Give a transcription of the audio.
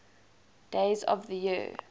days of the year